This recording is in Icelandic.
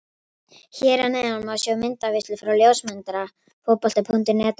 Hér að neðan má sjá myndaveislu frá ljósmyndara Fótbolta.net á vellinum.